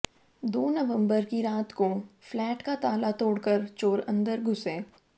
दो नवम्बर की रात को फ्लैट का ताला तोडक़र चोर अंदर घुसे